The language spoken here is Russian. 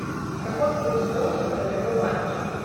какой курс доллара в втб банке